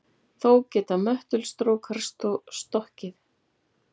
Þó geta möttulstrókar stokkið.